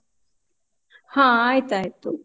ಹ ಆಯ್ತಾಯ್ತು.